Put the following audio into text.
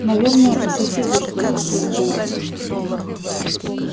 наверное у соседей что-то за стенкой